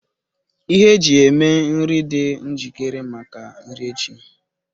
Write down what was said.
Ihe eji eme ihe dị njikere maka nri echi